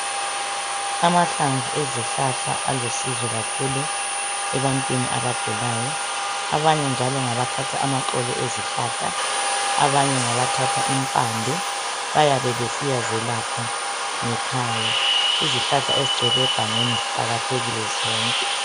Amahlamvu ezihlahla alusizo kakhulu ebantwini abagulayo abanye njalo ngabathatha amaxolo ezihlahla abanye ngabathatha impande bayabe besiya zelapha ngekhaya izihlahla ezigcwele egangeni ziqakathekile zonke.